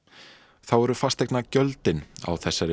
þá eru fasteigna gjöldin á þessari